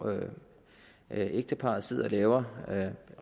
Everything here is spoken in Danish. et ægtepar sidder og laver